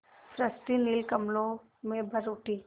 सृष्टि नील कमलों में भर उठी